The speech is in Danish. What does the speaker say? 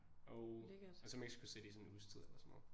Og og så Mexico City sådan en uges tid eller sådan noget